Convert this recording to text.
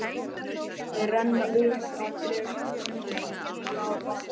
Þau renna upp að drekanum og stíga af baki.